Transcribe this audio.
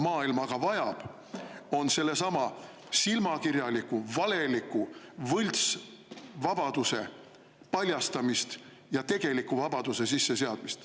Maailm aga vajab sellesama silmakirjaliku, valeliku võltsvabaduse paljastamist ja tegeliku vabaduse sisseseadmist.